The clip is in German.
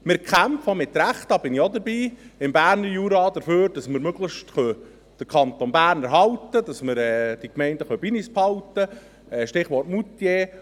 Wir kämpfen, auch zu Recht – da bin ich auch dabei – mit dem Berner Jura dafür, dass wir möglichst den Kanton Bern erhalten können, dass wir die Gemeinden bei uns behalten können – Stichwort: Moutier.